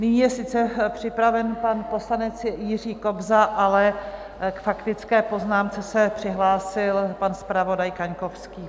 Nyní je sice připraven pan poslanec Jiří Kobza, ale k faktické poznámce se přihlásil pan zpravodaj Kaňkovský.